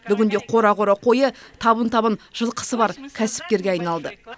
бүгінде қора қора қойы табын табын жылқысы бар кәсіпкерге айналды